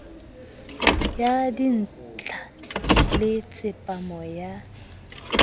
ya dintla le tsepamo ya